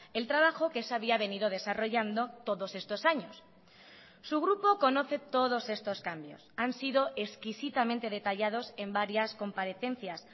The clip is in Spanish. el trabajo que se había venido desarrollando todos estos años su grupo conoce todos estos cambios han sido exquisitamente detallados en varias comparecencias